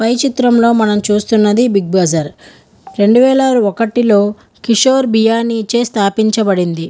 పై చిత్రంలో మనం చూస్తున్నది బిగ్ బజార్ . రెండు వేల ఒకటి లో కిషోర్ బియనిచె స్థాపించబడింది.